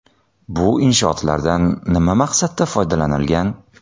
Bu inshootlardan nima maqsadda foydalanilgan?